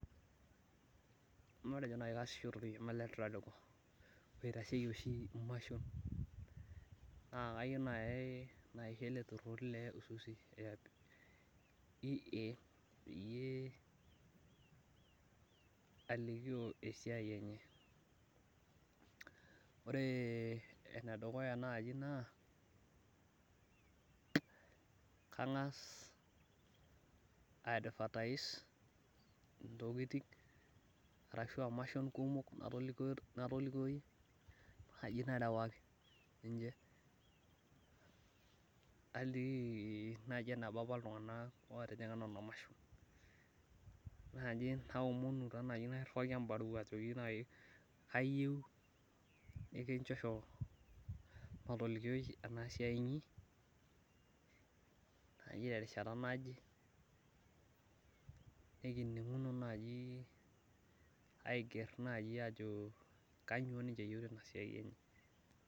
matejo naaji kasisho torkioma le tradco, oitasheki oshi imashon, ituri le le Isuzu EA peyie aaliki esiai enye ore eneduya naaji naa kangas advertise intokitin arashu aa imashon kumok, natolikio naaji narewaki niche naliki eneba apa iltunganak otijing'a nena imashon, naomonu taa naaji nairiwaki ebaruwa najoki kayieu nikichosho matolikio enasiai, inyi naaji terishata naje nikininguno naaji ajo kainyoo niche eyieu tena siaii enye.